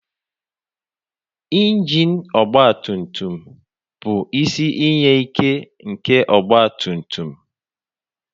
Injin ọgba tùmtùm bụ isi iyi ìké nke ọgba tùmtùm